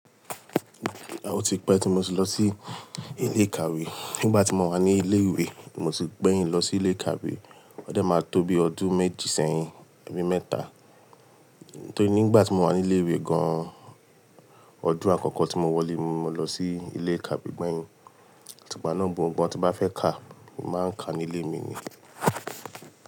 O tí pẹ́ tí mo ti lọ sí ilé ìkàwé. Nígbà tí mo wà ní ilé ìwé, mo ti gbẹ̀yìn lọ sí ilé ìkàwé. Ó dé máa tó bi ọdún méjì sẹ́yìn, ẹbí mẹ́ta. Nítorí nígbà tí mo wà ní ilé ìwé gan-an, ọdún àkọ́kọ́ tí mo wọlé, ni mo lọ sí ilé ìkàwé gbẹ̀yìn. Tipẹ́ náà gbogbo ohun tí bá fẹ́ ká, mo máa ń ka ní ilé mi ni.